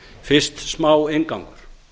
fyrst smá inngangur